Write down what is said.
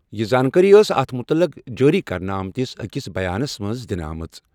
یہِ زانٛکٲری ٲس اَتھ مُتعلِق جٲری کرنہٕ آمتِس أکِس بیانَس منٛز دِنہٕ آمٕژ۔